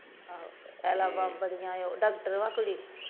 ਪਹਿਲਾਂ ਡਾਕਟਰ ਹੈ ਕੁੜੀ।